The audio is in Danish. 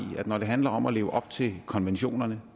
at når det handler om at leve op til konventionerne